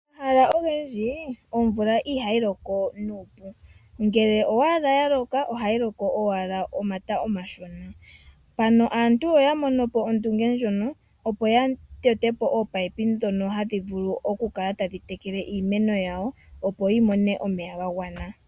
Omahala ogendji omvula ihayi loko nuupu, ngele owa adha yaloka ohayi loko owala omata omashona, mpano aantu oya mono po ondunge ndjono opo yatete po oopipe dhono hadhivulu okukala tadhi tekele iimeno yawo opo yimone omeya gagwana.